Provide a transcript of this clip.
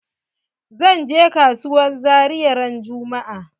Zan je kasuwar zaria ran juma'a.